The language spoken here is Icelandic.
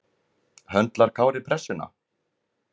Höndlar Kári pressuna?